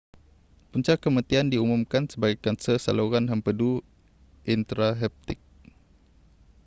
punca kematian diumumkan sebagai kanser saluran hempedu intrahepatik